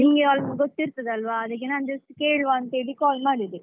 ನಿಮಗೆ ಯಾವ್ ಗೊತ್ತಿರ್ತದೆ ಅಲ್ವ ಅದ್ಕೆ ನಾನ್just ಕೇಳುವ ಅಂತ call ಮಾಡಿದೆ